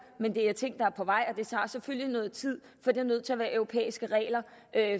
men det er ting der er på vej og det tager selvfølgelig noget tid for det er nødt til at være europæiske regler